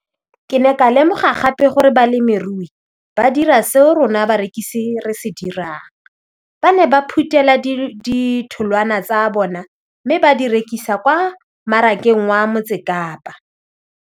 Ke ne ka lemoga gape gore balemirui ba dira seo rona barekisi re se dirang ba ne ba phuthela ditholwana tsa bona mme ba di rekisa kwa marakeng wa Motsekapa.